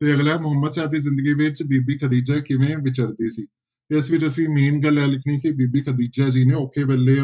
ਤੇ ਅਗਲਾ ਮੁਹੰਮਦ ਸ਼ਾਹ ਦੀ ਜ਼ਿੰਦਗੀ ਵਿੱਚ ਬੀਬੀ ਖ਼ਦੀਜਾ ਕਿਵੇਂ ਵਿਚਰਦੀ ਸੀ ਤੇ ਇਸ ਵਿੱਚ ਅਸੀਂ main ਗੱਲ ਇਹ ਲਿਖਣੀ ਕਿ ਬੀਬੀ ਖ਼ਦੀਜਾ ਜੀ ਨੇ ਔਖੇ ਵੇਲੇ